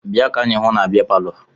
Bịa ka anyị hụ na bịa palọ!